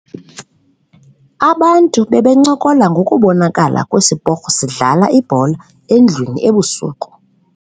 Abantu bebencokola ngokubonakala kwesiporho sidlala ibhola endlwini ebusuku.